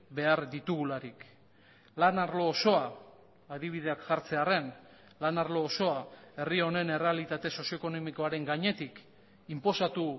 behar ditugularik lan arlo osoa adibideak jartzearren lan arlo osoa herri honen errealitate sozio ekonomikoaren gainetik inposatu